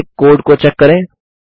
फिर से कोड को चेक करें